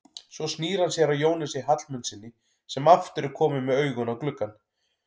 Svo snýr hann sér að Jónasi Hallmundssyni sem aftur er kominn með augun á gluggann.